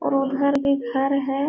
और उधर भी घर है।